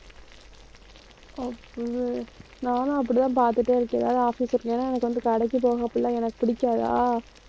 நானும் அப்படித்தான் பாத்துட்டே இருக்கேன். எதாவது office work ஏன்னா எனக்கு வந்து கடைக்கு போகாப்புல எனக்கு பிடிக்காதா